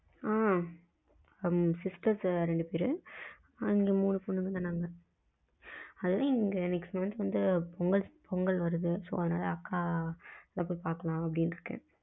ஆ sisters ரெண்டு பெரு மூணு பொண்ணுங்க தான் நாங்க அதுல next month வந்து பொங்கல் வருது so அதனால அக்கா போயி பாக்கலா அப்டின்னு இருக்கேன்.